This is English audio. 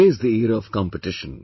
Today is the era of competition